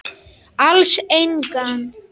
Alls engan.